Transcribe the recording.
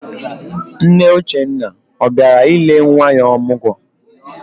Nne Uchenna ọ bịara ile nwa ya ọmụgwọ?